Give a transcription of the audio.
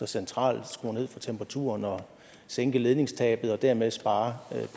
centralt skrue ned for temperaturen og sænke ledningstabet og dermed spare